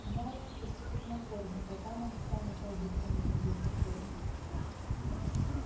знают что тут их накормят а там они сами пойдут кому нибудь на корм